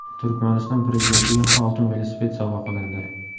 Turkmaniston prezidentiga oltin velosiped sovg‘a qilindi.